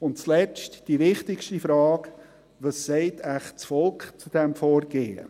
Und zuletzt die wichtigste Frage: Was sagt wohl das Volk zu diesem Vorgehen?